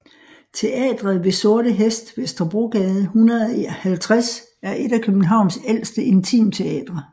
Teatret ved Sorte Hest Vesterbrogade 150 er et af Københavns ældste intimteatre